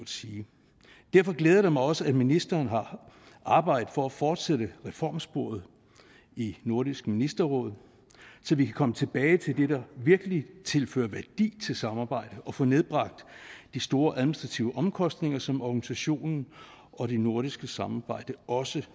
sige derfor glæder det mig også at ministeren har arbejdet for at fortsætte reformsporet i nordisk ministerråd så vi kan komme tilbage til det der virkelig tilfører samarbejde og få nedbragt de store administrative omkostninger som organisationen og det nordiske samarbejde også